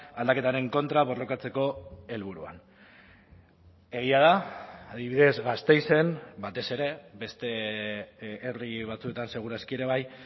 aldaketaren kontra borrokatzeko helburuan egia da adibidez gasteizen batez ere beste herri batzuetan seguraski ere bai